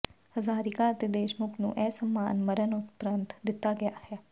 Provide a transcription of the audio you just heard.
ਹਜ਼ਾਰੀਕਾ ਅਤੇ ਦੇਸ਼ਮੁਖ ਨੂੰ ਇਹ ਸਨਮਾਨ ਮਰਨ ਉਪਰੰਤ ਦਿਤਾ ਗਿਆ